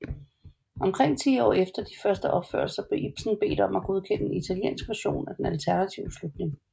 Omkring ti år efter de første opførelser blev Ibsen bedt om at godkende en italiensk version af den alternative slutning